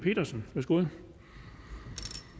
naturen